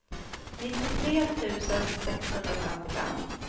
nittiotre tusen sexhundrafemtiofem